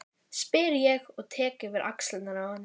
spyr ég og tek yfir axlirnar á henni.